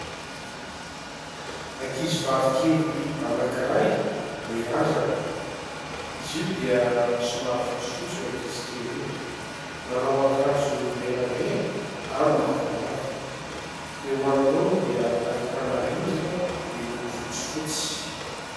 Ankizivavy kely anankiray mirandrana. Izy io dia somary fotsifotsy io ankizy kely io. Manao akanjo menamena ary mavomavo. Eo anoloany dia ahitana rindrina miloko fotsifotsy.